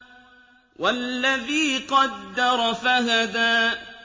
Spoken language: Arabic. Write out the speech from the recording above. وَالَّذِي قَدَّرَ فَهَدَىٰ